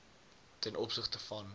ten opsigte van